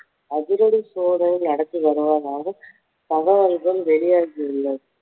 அதிரடி சோதனை நடத்தி வருவதாக தகவல்கள் வெளியாகி உள்ளது